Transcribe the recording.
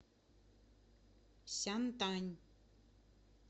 сянтань